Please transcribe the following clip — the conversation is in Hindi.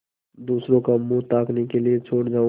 दूसरों का मुँह ताकने के लिए छोड़ जाऊँ